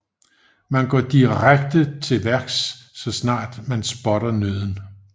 Man går direkte tilværks så snart man spotter nøden